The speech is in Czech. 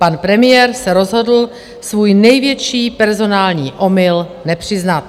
Pan premiér se rozhodl svůj největší personální omyl nepřiznat.